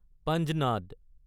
Panjnad